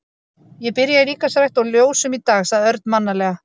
Ég byrja í líkamsrækt og ljósum í dag sagði Örn mannalega.